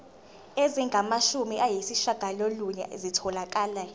ezingamashumi ayishiyagalolunye zitholakele